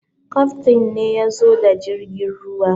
Kaftain ne ya zo da jirgin ruwan.